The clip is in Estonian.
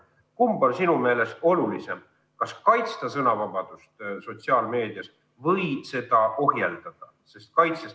Kumb on sinu meelest olulisem, kas sõnavabadust sotsiaalmeedias kaitsta või seda ohjeldada?